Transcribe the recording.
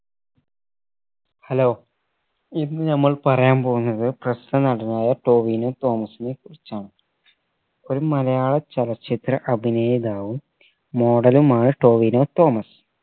hello ഇന്ന് നമ്മൾ പറയാൻ പോവ്ന്നത് പ്രസ്തുത നടനായ ടോവിനോ തോമസിനെ കുറിച്ചാണ് ഒരു മലയാള ചലച്ചിത്ര അഭിനേതാവും model മായാ ടോവിനോ തോമസ്